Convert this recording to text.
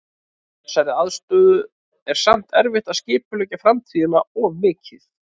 Í þessari aðstöðu er samt erfitt að skipuleggja framtíðina of mikið.